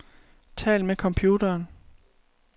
Tal med computeren.